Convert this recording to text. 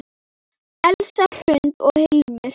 Elsa Hrund og Hilmir.